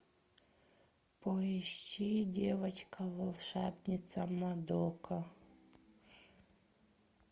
поищи девочка волшебница мадока